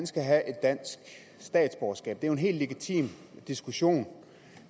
skal have dansk statsborgerskab det er jo en helt legitim diskussion